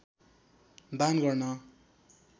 दान गर्न